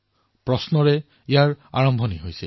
প্ৰশ্নৰ পৰা আৰম্ভ হয়